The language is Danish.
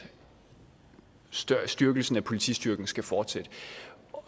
styrkelsen af politistyrken skal fortsætte